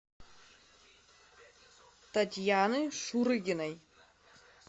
татьяны шурыгиной